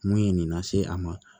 Mun ye nin lase a ma